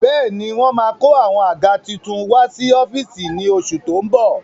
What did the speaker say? Bẹ́ẹ̀ni wọ́n máa kó àwọn àga tuntun wá sí ọ́fíìsì ní oṣù tó ń bọ̀